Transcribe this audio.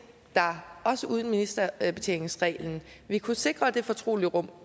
der også uden ministerbetjeningsreglen vil kunne sikre det fortrolige rum